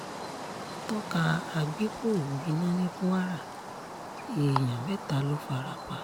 tọ́ka agbépo gbiná ní kwara èèyàn mẹ́ta ló fara pa